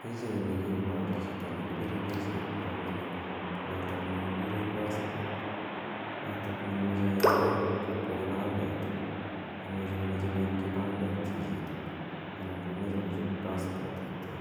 Pichaini koparu chito ne kipire pichait na mining' notok ne kikire passport notok ne imuchi kinde kowa kipandet. Imuchi ko mache koip kipandet chchitok anan ko mache kochop passport kityo.